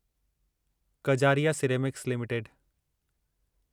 Kajaria ceramics limited